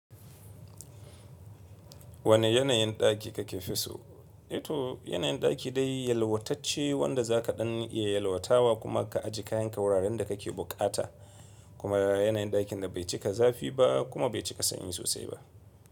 Wane yanayin ɗaki kake fi so? Ito yanayin ɗaki dai yalwatacce wanda za ka ɗan iya yalwatawa kuma ka ajiye kayanka wuraren da kake bukata kuma yanayin ɗakin da bai cika zafi ba kuma bai cika sanyi sosai ba.